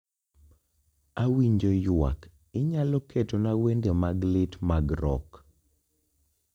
Awinjo ywak inyalo ketona wende mag lit mag rock